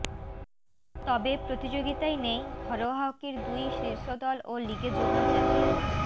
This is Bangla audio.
তবে প্রতিযোগিতায় নেই ঘরোয়া হকির দুই শীর্ষদল ও লিগে যুগ্ম চ্যাম্পিয়ন